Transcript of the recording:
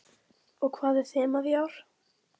Erla: Og hvað er þemað í ár?